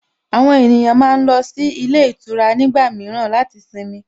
Àwọn ènìyàn máa ń lọ sí ilé ìtura nígbà mìíràn láti sinmi